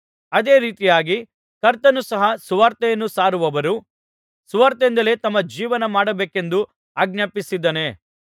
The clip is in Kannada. ಅದೇ ರೀತಿಯಾಗಿ ಕರ್ತನು ಸಹ ಸುವಾರ್ತೆಯನ್ನು ಸಾರುವವರು ಸುವಾರ್ತೆಯಿಂದಲೇ ತಮ್ಮ ಜೀವನಮಾಡಬೇಕೆಂದು ಆಜ್ಞಾಪಿಸಿದ್ದಾನೆ